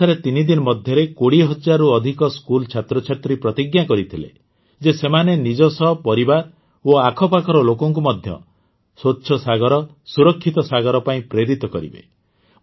ଓଡ଼ିଶାରେ ତିନିଦିନ ମଧ୍ୟରେ ୨୦ ହଜାରରୁ ଅଧିକ ସ୍କୁଲ୍ ଛାତ୍ରଛାତ୍ରୀ ପ୍ରତିଜ୍ଞା କରିଥିଲେ ଯେ ସେମାନେ ନିଜ ସହ ପରିବାର ଓ ଆଖପାଖର ଲୋକଙ୍କୁ ମଧ୍ୟ ସ୍ୱଚ୍ଛ ସାଗର ସୁରକ୍ଷିତ ସାଗର ପାଇଁ ପ୍ରେରିତ କରିବେ